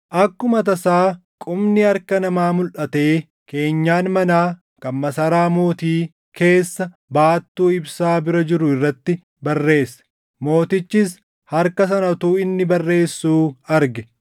Akkuma tasaa qubni harka namaa mulʼatee keenyan manaa kan masaraa mootii keessa baattuu ibsaa bira jiru irratti barreesse. Mootichis harka sana utuu inni barreessuu arge.